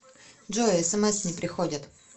джой смс не приходят